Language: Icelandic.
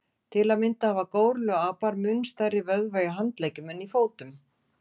Til að mynda hafa górilluapar mun stærri vöðva í handleggjum en í fótum.